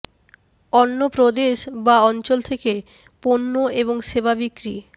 অন্য প্রদেশ বা অঞ্চল থেকে পণ্য এবং সেবা বিক্রি